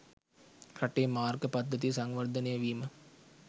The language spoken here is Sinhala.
රටේ මාර්ග පද්ධතිය සංවර්ධනය වීම